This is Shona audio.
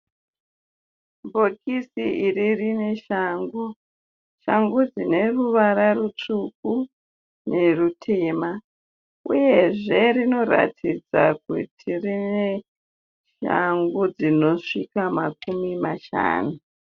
Bhokisi iri rine shangu, shangu dzine ruvara rutsvuku nerutema uyezve rinoratidza kuti rine shangu dzinosvika makumi mashanu.